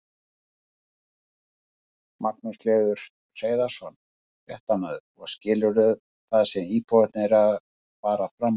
Magnús Hlynur Hreiðarsson, fréttamaður: Og skilurðu það sem íbúarnir eru að fara fram á?